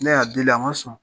Ne y'a deli a man sɔn.